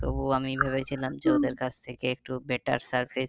তবুও আমি ভেবেছিলাম যে ওদের কাছ থেকে একটু better service